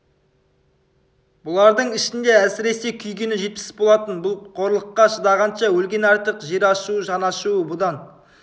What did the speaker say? бұлардың ішінде әсіресе күйгені жетпіс болатын бұл қорлыққа шыдағанша өлген артық жер ашуы жан ашуы бұдан